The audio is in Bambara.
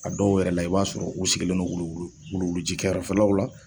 A dɔw yɛrɛ la, i b'a sɔrɔ u sigilen don wuluwulu ji kɛrɛfɛlaw la.